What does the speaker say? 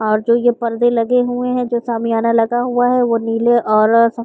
और जो ये परदे लगे हुए हैं जो शमियारा लगा हुआ है वो नीले और सफ़ --